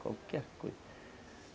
Qualquer coisa.